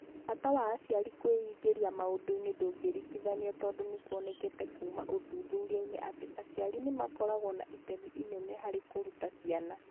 Bata wa aciari kwĩingĩria maũndũ-inĩ ndũngĩringithanio tondũ nĩ kuonekete kuuma ũthuthuria-inĩ atĩ aciari nĩ makoragwo na itemi inene harĩ kũruta ciana.